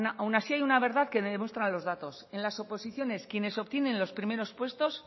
aun así hay una verdad que demuestran los datos en las oposiciones quienes obtienen los primeros puestos